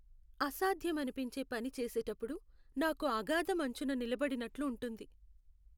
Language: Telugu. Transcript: అసాధ్యం అనిపించే పని చేసేటప్పుడు నాకు అగాధం అంచున నిలబడినట్లు ఉంటుంది.